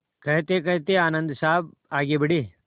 कहतेकहते आनन्द साहब आगे बढ़े